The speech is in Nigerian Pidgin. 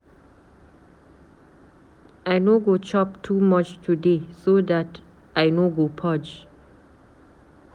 I no go chop too much today, so dat I no go purge.